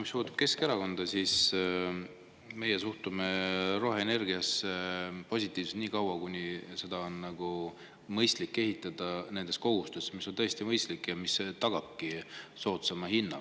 Mis puudutab Keskerakonda, siis meie suhtume roheenergiasse positiivselt nii kaua, kuni seda on mõistlik nende kohustuste raames, mis on tõesti mõistlikud ja mis tagavadki soodsama hinna.